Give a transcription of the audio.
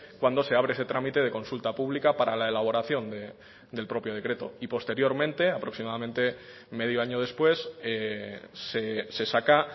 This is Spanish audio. cuando se abre ese trámite de consulta pública para la elaboración del propio decreto y posteriormente aproximadamente medio año después se saca